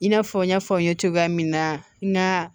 I n'a fɔ n y'a fɔ n ye cogoya min na n ka